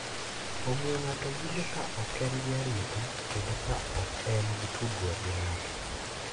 Omiyo ng’ato winjo ka ok en gi arita kendo ka ok en gi tudruok gi ng’ato.